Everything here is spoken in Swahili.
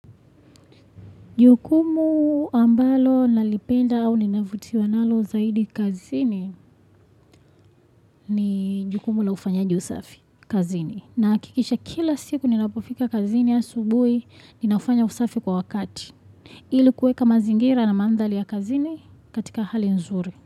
Jukumu ambalo nalipenda au ninavutiwa nalo zaidi kazini ni jukumu la ufanyaji usafi kazini. Nahakikisha kila siku ninapofika kazini asubui ninafanya usafi kwa wakati. Ili kueka mazingira na mandhari ya kazini katika hali nzuri.